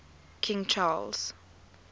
king charles